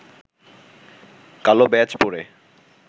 কালো ব্যাজ পরে